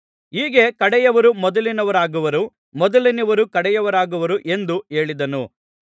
ಹೀಗೆ ಕಡೆಯವರು ಮೊದಲಿನವರಾಗುವರು ಮೊದಲಿನವರು ಕಡೆಯವರಾಗುವರು ಎಂದು ಹೇಳಿದನು